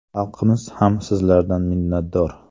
Xalqimiz ham sizlardan minnatdor.